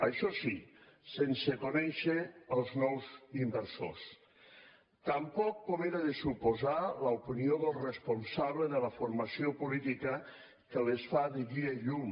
això sí sense conèixer els nous inversors tampoc com era de suposar l’opinió del responsable de la formació política que els fa de guia i llum